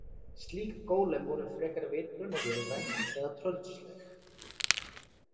Slík gólem voru frekar vitgrönn og vélræn eða tröllsleg.